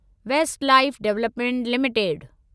waste Life Development limited